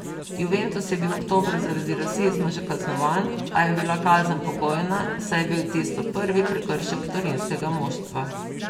Juventus je bil oktobra zaradi rasizma že kaznovan, a je bila kazen pogojna, saj je bil tisto prvi prekršek torinskega moštva.